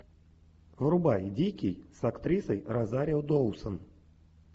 врубай дикий с актрисой розарио доусон